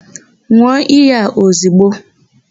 N̄ụọ iyi a ozigbo!